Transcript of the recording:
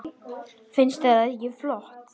Finnst þér það ekki flott?